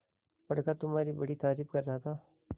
बड़का तुम्हारी बड़ी तारीफ कर रहा था